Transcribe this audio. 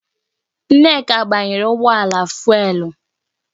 Nneka gbanyere ụgbọala fụ́élú